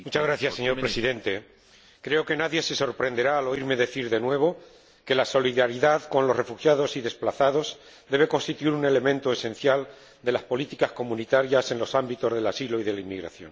Señor Presidente, creo que nadie se sorprenderá al oírme decir de nuevo que la solidaridad con los refugiados y desplazados debe constituir un elemento esencial de las políticas comunitarias en los ámbitos del asilo y de la inmigración.